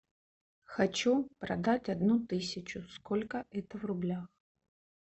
хочу продать одну тысячу сколько это в рублях